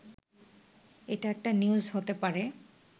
এটা একটা নিউজ হতে পারে